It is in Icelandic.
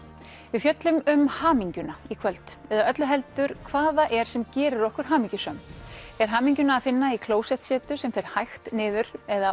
við fjöllum um hamingjuna í kvöld eða öllu heldur hvað það er sem gerir okkur hamingjusöm er hamingjuna að finna í klósettsetu sem fer hægt niður eða